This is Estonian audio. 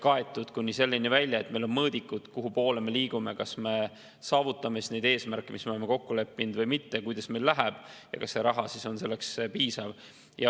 Ja see läheb kuni selleni välja, et meil on mõõdikud, kuhupoole me liigume: kas me saavutame neid eesmärke, mis me oleme kokku leppinud või mitte, kuidas meil läheb ja kas see raha on piisav.